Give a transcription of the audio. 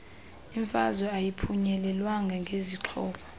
imfazwe ayiphunyelelwa ngezixhobo